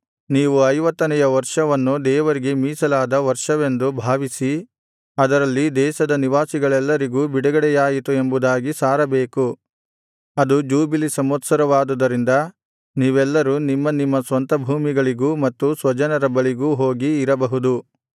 ನೀವು ಐವತ್ತನೆಯ ವರ್ಷವನ್ನು ದೇವರಿಗೆ ಮೀಸಲಾದ ವರ್ಷವೆಂದು ಭಾವಿಸಿ ಅದರಲ್ಲಿ ದೇಶದ ನಿವಾಸಿಗಳೆಲ್ಲರಿಗೂ ಬಿಡುಗಡೆಯಾಯಿತು ಎಂಬುದಾಗಿ ಸಾರಬೇಕು ಅದು ಜೂಬಿಲಿ ಸಂವತ್ಸರವಾದುದರಿಂದ ನೀವೆಲ್ಲರು ನಿಮ್ಮ ನಿಮ್ಮ ಸ್ವಂತ ಭೂಮಿಗಳಿಗೂ ಮತ್ತು ಸ್ವಜನರ ಬಳಿಗೂ ಹೋಗಿ ಇರಬಹುದು